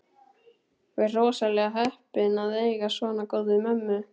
Þú ert rosalega heppinn að eiga svona góða mömmu.